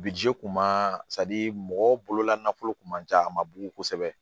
kun ma mɔgɔ bolola nafolo kun man ca a ma bugu kosɛbɛ